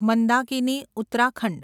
Mandakini Uttarakhand